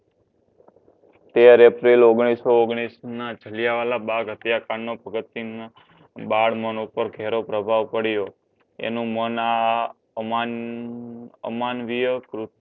તેર એપ્રિલ ઓગણીસો ઓગણીના જલિયાંવાલા બાગ હત્યાકાંડમાં ભગતસિંહના બાળ મન પર ઘેરો પ્રભાવ પડ્યો. એનો મન આ અમાન અમાનવીય